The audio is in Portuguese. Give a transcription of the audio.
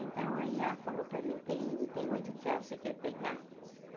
Então, aí ela falou para mim, tem tem oito tear, você quer pegar?